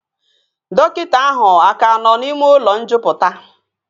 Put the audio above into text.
Dọkịta ahụ aka nọ n'ime ụlọ njupụta?